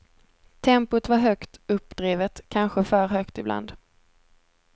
Tempot var högt uppdrivet, kanske för högt ibland.